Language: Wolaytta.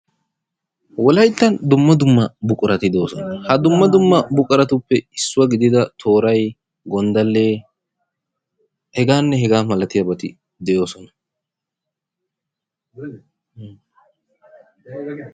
Wolayttan dumma dumma buquratti de'osonna ha ,dumma dumma buquratuppe issuwa gidida toray, gondalle, hegaanne hegaa malatiyabati de'oosona.